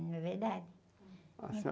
Não é verdade? senhora...